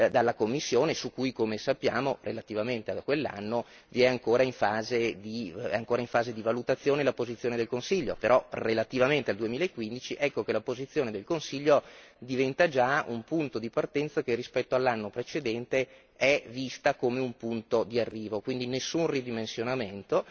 dalla Commissione su cui, come sappiamo, relativamente a quell'anno, è ancora in fase di valutazione la posizione del Consiglio, però relativamente al 2015 ecco che la posizione del Consiglio diventa già un punto di partenza che rispetto all'anno precedente è vista come un punto di arrivo, quindi nessun ridimensionamento.